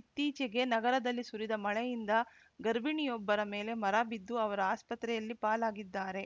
ಇತ್ತೀಚಿಗೆ ನಗರದಲ್ಲಿ ಸುರಿದ ಮಳೆಯಿಂದ ಗರ್ಭಿಣಿಯೊಬ್ಬರ ಮೇಲೆ ಮರ ಬಿದ್ದು ಅವರು ಆಸ್ಪತ್ರೆಯಲ್ಲಿ ಪಾಲಾಗಿದ್ದಾರೆ